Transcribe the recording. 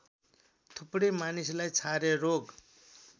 थुप्रै मानिसलाई छारे रोग